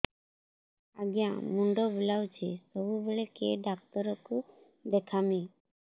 ଆଜ୍ଞା ମୁଣ୍ଡ ବୁଲାଉଛି ସବୁବେଳେ କେ ଡାକ୍ତର କୁ ଦେଖାମି